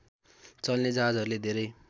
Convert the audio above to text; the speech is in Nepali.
चल्ने जहाजहरूले धेरै